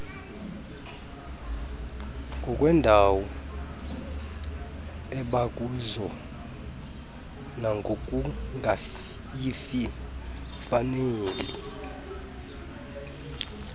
ngokweendawo abakuzo nangokungayifaneli